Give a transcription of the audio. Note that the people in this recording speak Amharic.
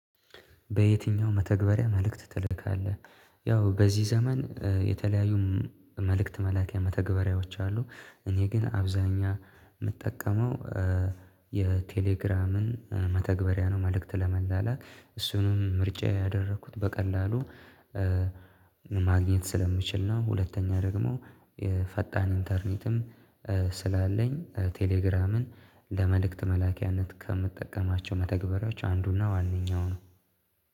በየትኛው መተግበሪያ መልእክት ትልካለህ? ያው በዚህ ዘመን የተለያዩ መልእክት መላኪያ መተግበሪያዎች አሉ እኔ ግን አብዛኛ የምጠቀመው የቴሌግራምን መተግበሪያ ነው መልእክት ለመላላክ እሱንም ምርጫ ያደረኩት በቀላሉ ማግኘት ስለምችል ነው ሁለተኛ ደግሞ የፈጣን ኢንተርኔትም ስላለኝ ቴሌግራምን ለመልእክት መላኪያነት ከምጠቀማቸው መተግበራቸው አንዱና ዋናው ነው